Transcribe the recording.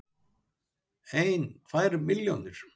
Eina, tvær milljónir?